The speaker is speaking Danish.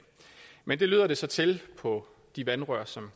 men det lyder det så til på de vandrør som